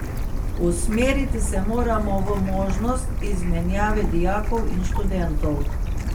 Usmeriti se moramo v možnost izmenjave dijakov in študentov.